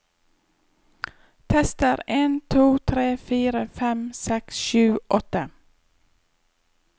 Tester en to tre fire fem seks sju åtte